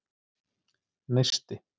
Neisti